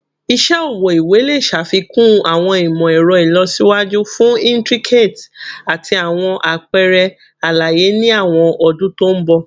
Iṣẹ ọwọ iwe le ṣafikun awọn imọ-ẹrọ ilọsiwaju fun intricate ati awọn apẹrẹ alaye ni awọn ọdun to nbọ